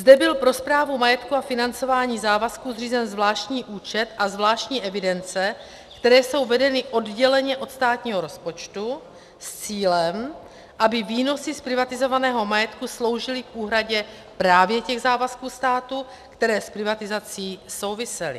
Zde byl pro správu majetku a financování závazků zřízen zvláštní účet a zvláštní evidence, které jsou vedeny odděleně od státního rozpočtu, s cílem, aby výnosy z privatizovaného majetku sloužily k úhradě právě těch závazků státu, které s privatizací souvisely.